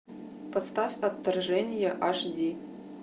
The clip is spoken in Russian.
поставь отторжение аш ди